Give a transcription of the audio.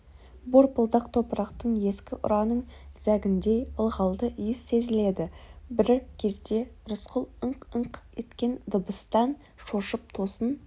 борпылдақ топырақтан ескі ұраның зәгіндей ылғалды иіс сезіледі бір кезде рысқұл ыңқ-ыңқ еткен дыбыстан шошып тосын